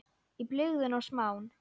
Í blygðun og smán.